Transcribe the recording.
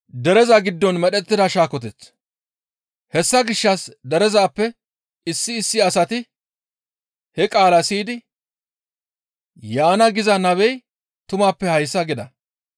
Hessa gishshas derezappe issi issi asati he qaalaa siyidi, «Yaana giza nabey tumappe hayssa» gida.